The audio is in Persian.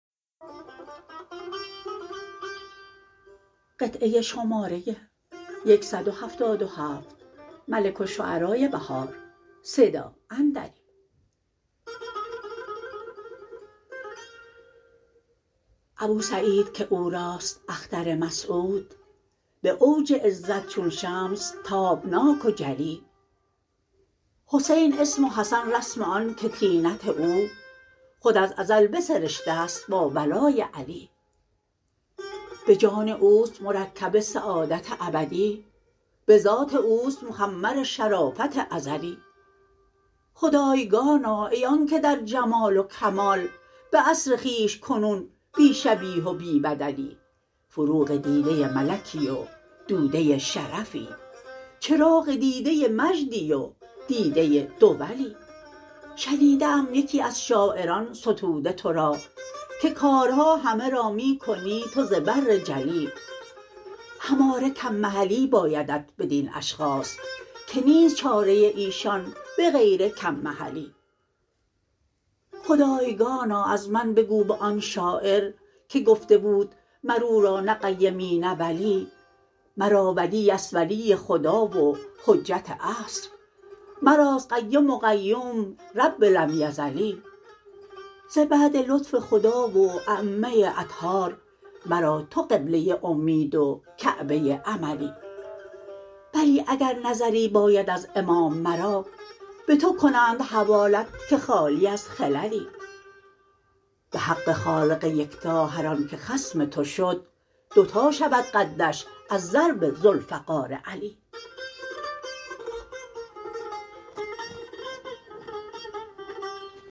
ابوسعید که اوراست اختر مسعود به اوج عزت چون شمس تابناک و جلی حسین اسم و حسن رسم آن که طینت او خود از ازل بسرشته است با ولای علی به جان اوست مرکب سعادت ابدی به ذات اوست مخمر شرافت ازلی خدایگانا ای آن که در جمال وکمال به عصر خویش کنون بی شبیه و بی بدلی فروغ دیده ملکی و دوده شرفی چراغ دیده مجدی و دیده دولی شنیده ام یکی از شاعران ستوده تو را که کارها همه را می کنی تو زبر جلی هماره کم محلی بایدت بدین اشخاص که نیست چاره ایشان بغیر کم محلی خدایگانا از من بگو به آن شاعر که گفته بود مر او را نه قیمی نه ولی مرا ولی است ولی خدا و حجت عصر مراست قیم و قیوم رب لم یزلی ز بعد لطف خدا و ایمه اطهار مرا تو قبله امید و کعبه املی بلی اگر نظری باید از امام مرا به تو کنند حوالت که خالی از خللی به حق خالق یکتا هرآن که خصم تو شد دو تا شود قدش از ضرب ذوالفقار علی